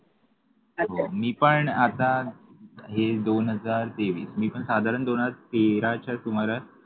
हो मी पण आता हे दोन हजार तेवीस मी पण साधारण दोन हजार तेराच्या सुमारास